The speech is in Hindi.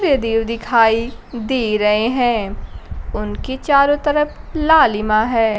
सूर्य देव दिखाई दे रहे हैं उनके चारों तरफ लालिमा है।